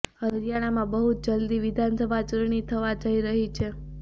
હરિયાણામાં બહુ જલ્દી વિધાનસભા ચૂંટણી થવા જઈ રહી છે